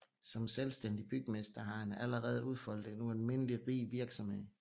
Som selvstændig bygmester har han allerede udfoldet en ualmindelig rig virksomhed